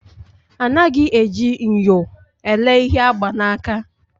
Anaghị eji nyo elee ihe agba n'aka